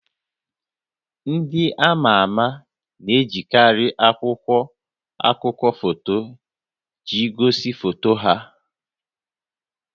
Ndị ama ama na-ejikarị akwụkwọ akụkọ foto iji gosi foto ha